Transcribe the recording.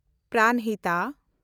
ᱯᱨᱟᱱᱦᱤᱛᱟ